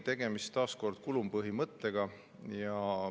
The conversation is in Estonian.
Tegemist on taas kulupõhimõttega.